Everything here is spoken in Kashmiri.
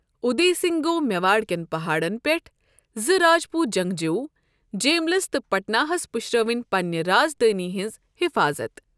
ادے سنگھ گوٚو میواڑ کٮ۪ن پہاڑن پٮ۪ٹھ، زٕ راجپوت جنگجو، جیملس تہٕ پٹنا ہَس پُشراوٕنۍ پننہِ رازدانۍ ہنٛز حفاظت۔